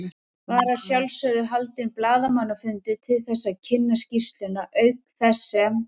Var að sjálfsögðu haldinn blaðamannafundur til þess að kynna skýrsluna, auk þess sem